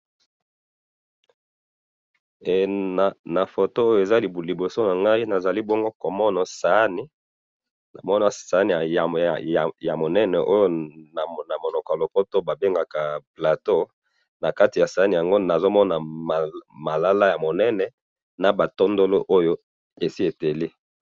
he na foto awa eza na liboso na ngayi nazali bongo komona sahani sahaniya munene nakat ya munoko ya lopoto ba bengaka plateau nakati yango nazomona ba mbumma ebele esi eteli.